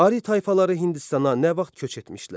Ari tayfaları Hindistana nə vaxt köç etmişdilər?